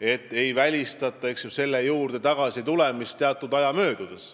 et ei välistata selle juurde tagasitulemist teatud aja möödudes.